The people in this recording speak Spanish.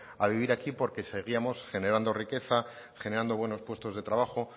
a vivir aquí porque seguíamos generando riqueza generando buenos puestos de trabajo